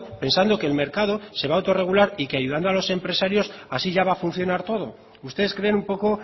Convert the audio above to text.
pensando que el mercado se va autorregular y que ayudando a los empresarios así ya va a funcionar todo ustedes creen un poco